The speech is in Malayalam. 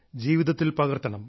ജീവിതത്തിൽ പകർത്തണം